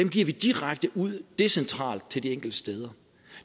giver vi direkte ud decentralt til de enkelte steder